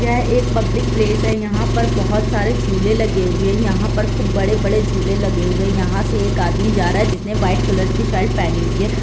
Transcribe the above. यह एक public place है यहाँ पर बहोत सारे झूले लगे हुए है यहाँ पर खूब बड़े - बड़े झूले लगे हुए हैयहाँ से एक आदमी जा रहा है जिसने व्हाइट कलर की शर्ट पहनी हुई है।